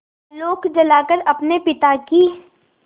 आलोक जलाकर अपने पिता की